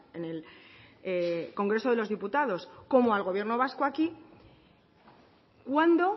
en el congreso de los diputados como al gobierno vasco aquí cuándo